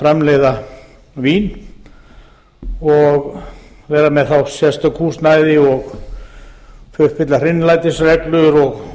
framleiða vín og vera þá með sérstakt húsnæði og uppfylla hreinlætisreglur og